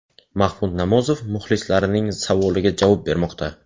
Mahmud Nomozov muxlislarining savoliga javob bermoqda.